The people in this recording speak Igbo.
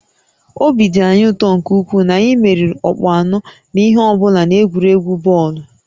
Obi dị anyị ụtọ nke ukwuu na anyị meriri ọkpụ anọ na ihe ọ bụla n'egwuregwu bọọlụ